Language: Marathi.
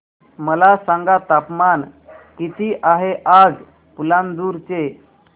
मला सांगा तापमान किती आहे आज पालांदूर चे